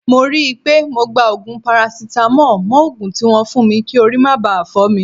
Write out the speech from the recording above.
Mo ri pe mo gba ogun parasitamo mo ogun tibwon fun mi ki ori ma ba fo mi.